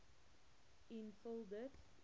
en vul dit